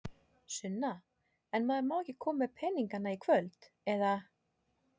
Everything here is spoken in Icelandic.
Sunna: En maður má ekki koma með peninga í kvöld, eða?